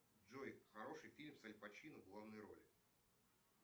джой хороший фильм с аль пачино в главной роли